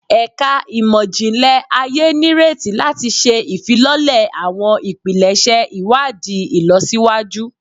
Ẹka Imọ-jinlẹ Aye nireti lati ṣe ifilọlẹ awọn ipilẹṣẹ iwadii ilọsiwaju